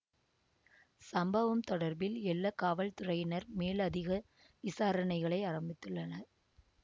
சம்பவம் தொடர்பில் எல்ல காவல்துறையினர் மேலதிக விசாரணைகளை ஆரம்பித்துள்ளனர்